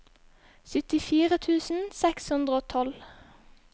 syttifire tusen seks hundre og tolv